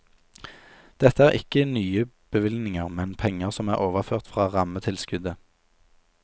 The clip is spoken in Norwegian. Dette er ikke nye bevilgninger, men penger som er overført fra rammetilskuddet.